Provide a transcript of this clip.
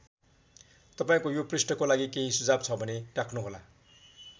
तपाईँको यो पृष्ठको लागि केही सुझाव छ भने राख्नुहोला।